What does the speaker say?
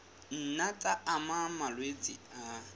nna tsa ama malwetse a